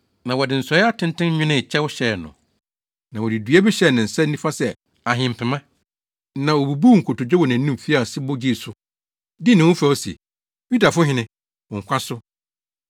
na wɔde nsɔe atenten nwenee kyɛw hyɛɛ no, na wɔde dua bi hyɛɛ ne nsa nifa sɛ ahempema, na wobubuu nkotodwe wɔ nʼanim fii ase bɔ gyee so, dii ne ho fɛw se, “Yudafo Hene, wo nkwa so.”